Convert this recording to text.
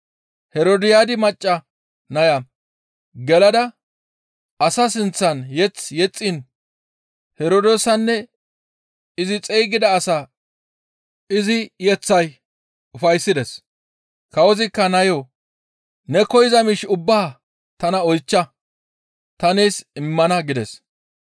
Herodiyaadi macca naya gelada asaa sinththan mazamure yexxiin Herdoosanne izi xeygida asaa izi yeththay ufayssides. Kawozikka nayo, «Ne koyza miish ubbaa tana oychcha; ta nees immana» gides.